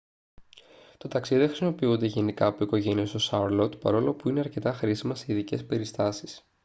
τα ταξί δεν χρησιμοποιούνται γενικά από οικογένειες στο σάρλοτ παρόλο που είναι αρκετά χρήσιμα σε ειδικές περιστάσεις